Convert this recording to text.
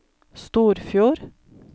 Storfjord